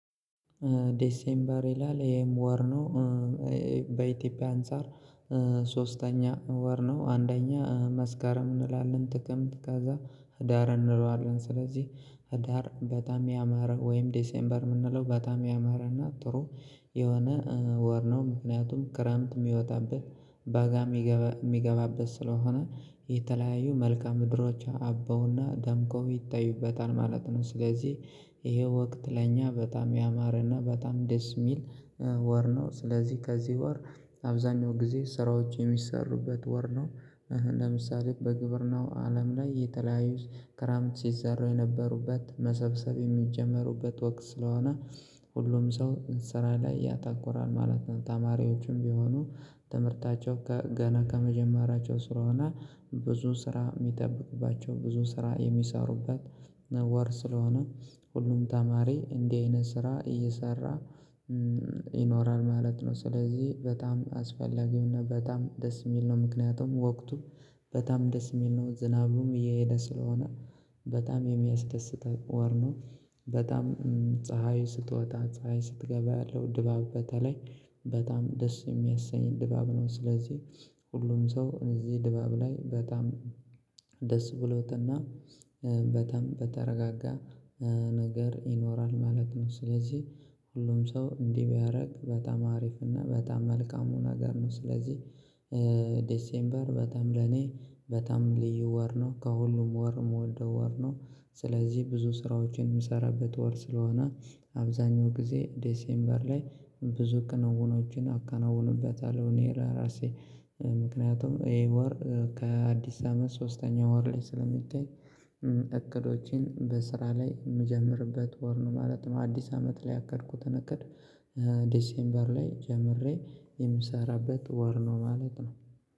ዴሴምበር ይላል ይህም ወር ነው። በኢትዮጵያ አንፃር ሶስተኛ ወር ነው አንደኛ መስከረም እንላለን ጥቅምት ከዛ ህዳር እንለዋለን ስለዚህ ህዳር በጣም ያማረ ወይም ዴሴምበር የምንለው በጣም ያማረና ጥሩ የሆነ ወር ነው። ምክንያቱም ክረምት የሚወጣበት በጋ የሚገባበት ስለሆነ የተለያዩ መልከአ ምድሮች አበውና ደምቀው ይታዩበታል ማለት ነው። ስለዚህ ይሄ ወቅት ለኛ በጣም ያማረና በጣም ደስ የሚል ወር ነው። ስለዚህ ከዚህ ወር አብዛኛው ጊዜ ስራዎች የሚሰሩበት ወር ነው። ለምሳሌ በግብር ናው አለም ላይ የተለያዩት ክረምት ሲዘራው የነበሩበት መሰብሰብ የሚጀመሩበት ወቅት ስለሆነ ሁሉም ሰው ስራ ላይ ያተኩራል ማለት ነው። ተማሪዎችም ቢሆኑ ትምህርታቸው ገና ከመጀመሪያቸው ስለሆነ ብዙ ስራ የሚጠብቅባቸው ብዙ ስራ የሚሰሩበት ወር ስለሆነ ሁሉም ተማሪ እንዲህ አይነት ስራ እየሰራ ይኖራል ማለት ነው። ስለዚህ በጣም አስፈላጊውና በጣም ደስ የሚል ነው። ምክንያቱም ወቅቱም በጣም ደስ የሚል ነው። ዝናቡም እየሄደ ስለሆነ በጣም የሚያስደስተኝ ወር ነው። በጣም ፀሀይ ስትወጣ ፀሀይ ስትገባ ያለው ድባብ በተለይ በጣም ደስ የሚያሰኝ ድባብ ነው። ስለዚህ ሁሉም ሰው እዚህ ድባብ ላይ በጣም ደስ ብሎትና በጣም በተረጋጋ ነገር ይኖራል ማለት ነው። ስለዚህ ሁሉም ሰው እንዲህ ቢያደርግ በጣም አሪፍ እና በጣም መልካሙን ነገር ነው። ስለዚህ ዴሴምበር በጣም ለኔ በጣም ልዩ ወር ነው። ከሁሉም ወርም ወልደው ወር ነው ስለዚህ ብዙ ስራዎችን የምሰራበት ወር ስለሆነ አብዛኛው ጊዜ ዴሴምበር ላይ ብዙ ክንውኖችን አከናውንበታለሁ። እኔ ራሴ ምክንያቱም ይሄ ወር ከአዲስ አመት ሶስተኛው ወር ላይ ስለሚታይ እቅዶችን በስራ ላይ የምጀምርበት ወር ነው። ማለት አዲስ አመት ላይ ያቀድኩት እንቅድ ዲሴምበር ላይ ጀምሬ የምሰራበት ወር ነው ማለት ነው።